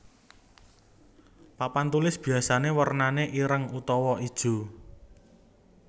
Papan tulis biyasané wernané ireng utawa ijo